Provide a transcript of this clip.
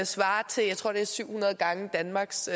svarer til jeg tror det er syv hundrede gange danmarks